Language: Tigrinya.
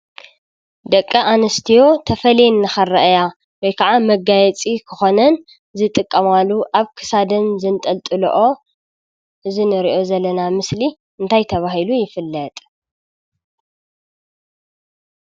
ደቂ ኣንስትዮ ተፈልየን ንኽርአያ ወይ ከዓ መጋየፂ ክኾነን ዝጥቀማሉ ኣብ ክሳደን ዘንጠልጥልኦ እዚ ንሪኦ ዘለና ምስሊ እንታይ ተባሂሉ ይፍለጥ ?